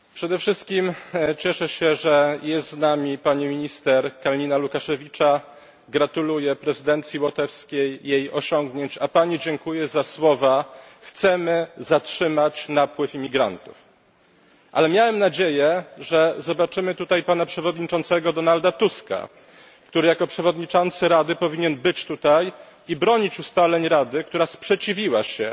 Panie Przewodniczący! Przede wszystkim cieszę się, że jest z nami pani minister Kalniņa Lukaševica. Gratuluję prezydencji łotewskiej jej osiągnięć, a pani dziękuję za słowa chcemy zatrzymać napływ imigrantów. Ale miałem nadzieję, że zobaczymy tutaj pana przewodniczącego Donalda Tuska, który jako przewodniczący Rady powinien być tutaj i bronić ustaleń Rady, która sprzeciwiła się